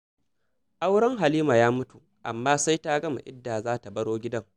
Auren Halima ya mutu, amma sai ta gama idda za ta baro gidan.